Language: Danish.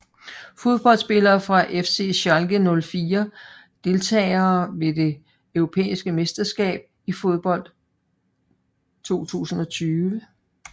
Fodboldspillere fra FC Schalke 04 Deltagere ved det europæiske mesterskab i fodbold 2020